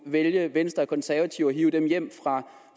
vælge venstre og konservative og hive dem hjem